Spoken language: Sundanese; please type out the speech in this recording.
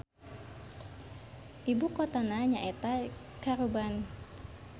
Ibukotana nyaeta Caruban.